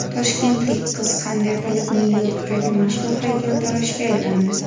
Toshkentlik qiz qanday qilib Nyu-Yorkdagi mashhur haykaltaroshga aylandi ?